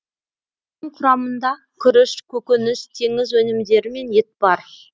оның құрамында күріш көкөніс теңіз өнімдері мен ет бар